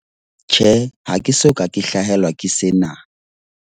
Tjhe, ha ke soka ke hlahelwa ke sena.